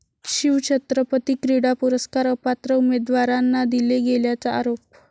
शिवछत्रपती क्रीडा पुरस्कार अपात्र उमेदवारांना दिले गेल्याचा आरोप